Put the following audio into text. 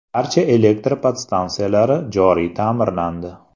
Barcha elektr podstansiyalari joriy ta’mirlandi.